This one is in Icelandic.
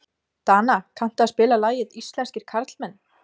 Dana, kanntu að spila lagið „Íslenskir karlmenn“?